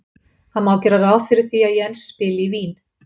Það má gera ráð fyrir því að Jens spili í Vín.